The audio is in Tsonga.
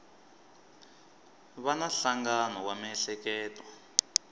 va na nhlangano wa miehleketo